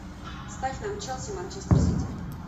ставь нам челси манчестер сити